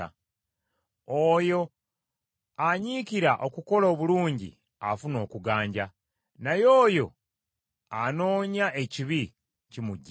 Oyo anyiikira okukola obulungi afuna okuganja, naye oyo anoonya ekibi, kimujjira.